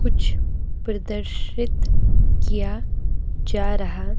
कुछ प्रदर्शित किया जा रहा--